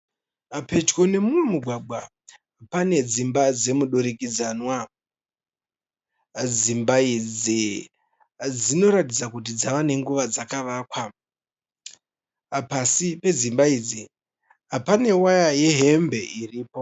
Pedyo nemumwe mugwagwa pane dzimba dzemudurikidzanwa. Dzimba idzi dzinoratidza kuti dzava nenguva dzakavakwa. Pasi pedzimba idzi pane waya yehembe iripo.